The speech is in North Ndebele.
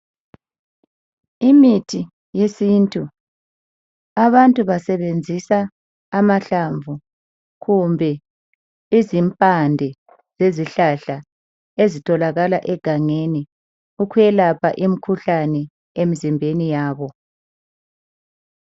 imithi yesintu abantu basebenzisa amahlamvu kumbe izimpande zezihlahla ezitholakal egangeni ukuyelapha imikhuhlane emzimbeni yabo